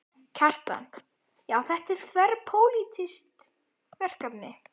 Kjartan: Já, þetta er þverpólitískt verkefni?